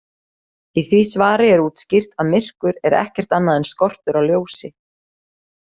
Í því svari er útskýrt að myrkur er ekkert annað en skortur á ljósi.